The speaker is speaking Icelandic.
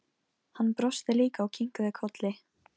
Hann brosti líka og kinkaði kolli.